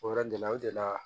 O yɔrɔ gɛlɛya o de la